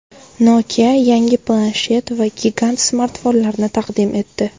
Nokia yangi planshet va gigant smartfonlarni taqdim etdi.